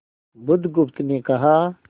बुधगुप्त ने कहा